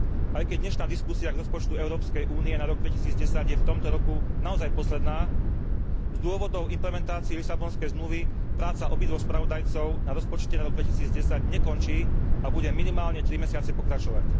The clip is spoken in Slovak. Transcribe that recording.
Aj keď dnešná diskusia k rozpočtu Európskej únie na rok 2010 je v tomto roku naozaj posledná, z dôvodov implementácie Lisabonskej zmluvy práca obidvoch spravodajcov na rozpočte na rok 2010 nekončí a bude minimálne tri mesiace pokračovať.